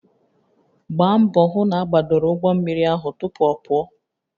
Gbaa mbọ hụ na agbadoro ụgbọ mmiri ahụ tupu ọ pụọ